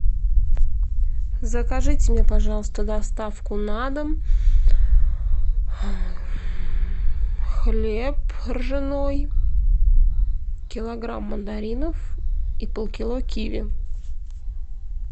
закажите мне пожалуйста доставку на дом хлеб ржаной килограмм мандаринов и полкило киви